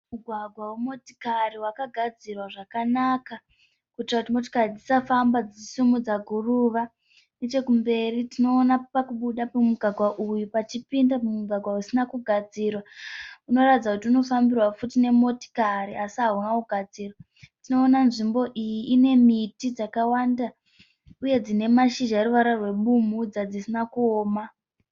Mugwagwa wemotokari wakagadzirwa zvakanaka kuitira kuti motikari dzisafamba dzichisimudza guruva, nechekumberi tinoona pakubuda kwemugwagwa uyu pachipinda mumugwagwa usina kugadzirwa unoratidza kuti unofambirwa futi nemotikari asi hauna kugadzirwa. Tinoona nzvimbo iyi ine miti dzakawanda uye dzine mashizha eruvara rwebumbudza dzisina kuoma.